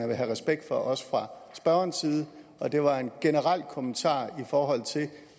vil have respekt for også fra spørgerens side og det var en generel kommentar i forhold til